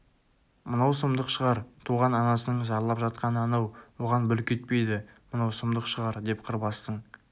мынау сұмдық шығар туған анасының зарлап жатқаны анау оған бүлк етпейді мынау сұмдық шығар деп қырбастың